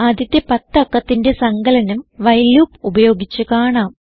ആദ്യത്തെ പത്ത് അക്കത്തിന്റെ സങ്കലനം വൈൽ ലൂപ്പ് ഉപയോഗിച്ച് കാണാം